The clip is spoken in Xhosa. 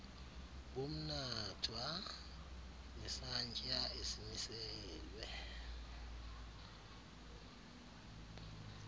bomnatha nesantya esimiselwe